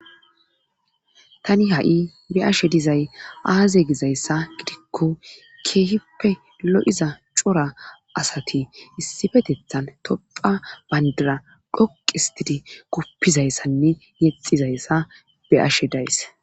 Tani ha'i be'ashshe dizay aaze gizayssa gidikko keehippe lo'iza cora asati issifeteththan tophphiya bayndira dhoqu histidi guppizayssanne yexizayssa be'ashshe days